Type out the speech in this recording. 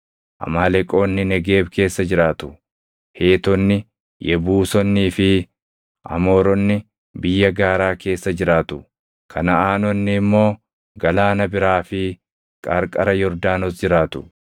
Amaaleqoonni Negeeb keessa jiraatu; Heetonni, Yebuusonnii fi Amooronni biyya gaaraa keessa jiraatu; Kanaʼaanonni immoo galaana biraa fi qarqara Yordaanos jiraatu.”